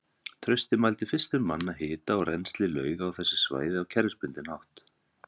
Trausti mældi fyrstur manna hita og rennsli lauga á þessu svæði á kerfisbundinn hátt.